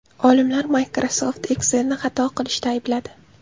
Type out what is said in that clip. Olimlar Microsoft Excel’ni xato qilishda aybladi.